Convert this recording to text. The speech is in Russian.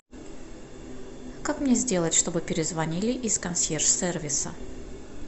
как мне сделать чтобы перезвонили из консьерж сервиса